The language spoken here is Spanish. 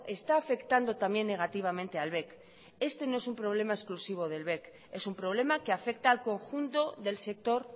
está afectando también negativamente al bec este no es un problema exclusivo del bec es un problema que afecta al conjunto del sector